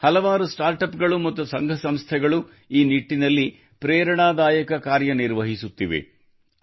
ದೇಶದಲ್ಲಿ ಹಲವು ಸ್ಟಾರ್ಟಪ್ ಗಳು ಮತ್ತು ಸಂಘ ಸಂಸ್ಥೆಗಳು ಈ ನಿಟ್ಟಿನಲ್ಲಿ ಪ್ರೇರಣಾದಾಯಕ ಕಾರ್ಯನಿರ್ವಹಿಸುತ್ತಿವೆ